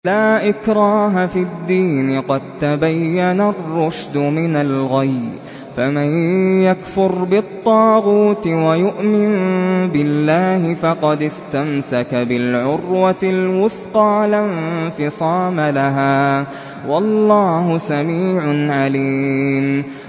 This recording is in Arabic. لَا إِكْرَاهَ فِي الدِّينِ ۖ قَد تَّبَيَّنَ الرُّشْدُ مِنَ الْغَيِّ ۚ فَمَن يَكْفُرْ بِالطَّاغُوتِ وَيُؤْمِن بِاللَّهِ فَقَدِ اسْتَمْسَكَ بِالْعُرْوَةِ الْوُثْقَىٰ لَا انفِصَامَ لَهَا ۗ وَاللَّهُ سَمِيعٌ عَلِيمٌ